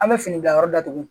An bɛ fini bila yɔrɔ datugu